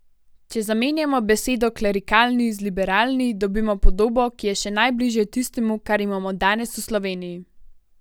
Če zamenjamo besedo klerikalni z liberalni, dobimo podobo, ki je še najbližje tistemu, kar imamo danes v Sloveniji.